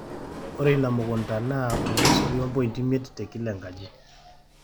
ore ina mukunta naa 0.5 te kila enkaji